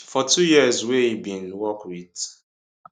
for two years wey e bin work wit